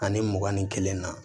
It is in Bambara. Ani mugan ni kelen na